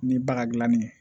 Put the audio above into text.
Ni baga dilanni ye